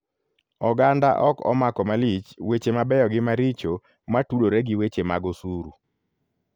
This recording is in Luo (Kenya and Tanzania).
Oganda ok omako malich weche mabeyo gi maricho matudore gi weche mag osuru.